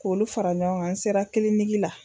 K'olu fara ɲɔgɔn kan, n sera kiliniki la.